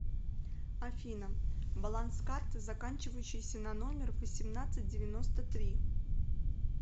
афина баланс карты заканчивающейся на номер восемнадцать девяносто три